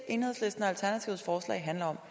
handler om